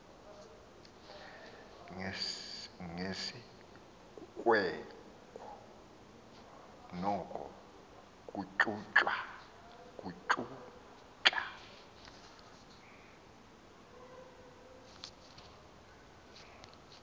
ngesikweko noko kuntyuntya